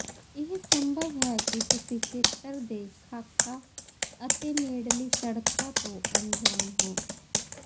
ਇਹ ਸੰਭਵ ਹੈ ਕਿ ਤੁਸੀਂ ਖੇਤਰ ਦੇ ਖਾਕਾ ਅਤੇ ਨੇੜਲੀ ਸੜਕਾਂ ਤੋਂ ਅਣਜਾਣ ਹੋ